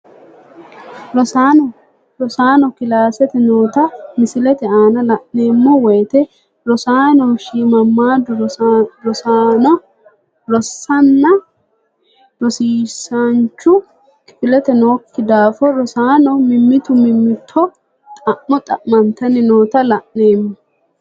Rosaano kilaasete noota misilete aana la`neemo woyite rosaano shimamaadu rosana rosiisanchu kifilete nooki daafo rosaano mimitu mimito xa`mo xamitani noota la`neemo.